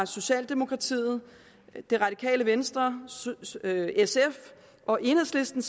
socialdemokratiet det radikale venstre sf og enhedslisten